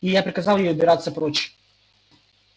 я приказал ей убираться прочь